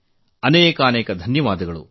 ತುಂಬಾ ತುಂಬಾ ಧನ್ಯವಾದಗಳು